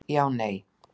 Já Nei